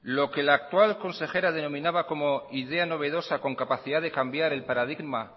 lo que la actual consejera denominaba como idea novedosa con capacidad de cambiar el paradigma